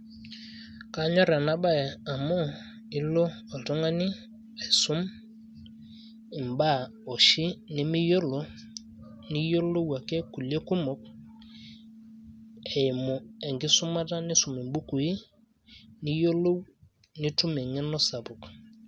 kanyor ena bae amu ilo oltungani aisum, ibaa oshi, nimiyiolo ,niyiolou ake kulie kumok eimu enkisumata nisum ibukui, niyiolou, nitum eng'eno sapuk.